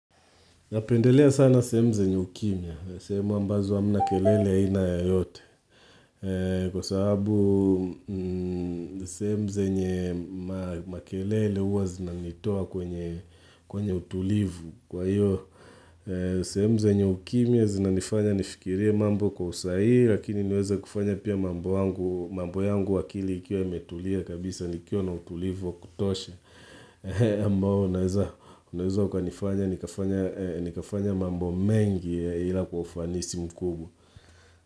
Napendelea sana sehemu zenye ukimya sehemu ambazo hamna kelele aina yoyote kwa sababu sehemu zenye makelele huwa zinanitoa kwenye utulivu kwa hiyo sehemu zenye ukimya zinanifanya nifikirie mambo kwa usahihi lakini niweze kufanya pia mambo yangu akili ikiwa imetulia kabisa nikiwa na utulivu wa kutosha ambao unaweza ukanifanya nikafanya mambo mengi ila kwa ufanisi mkubwa.